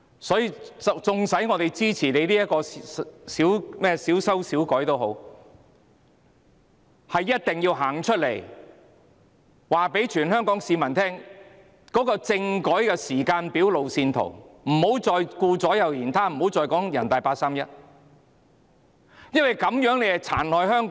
所以，縱使我們支持這項小修小補的《條例草案》，也一定要告訴全香港市民，政府必須提供政改的時間表和路線圖，不要再顧左右而言他，不要再說人大八三一決定，因為這樣做只會殘害香港。